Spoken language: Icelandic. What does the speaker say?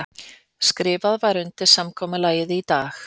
Skrifað var undir samkomulagið í dag